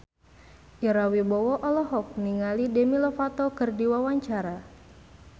Ira Wibowo olohok ningali Demi Lovato keur diwawancara